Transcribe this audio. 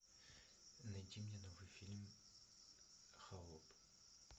найти мне новый фильм холоп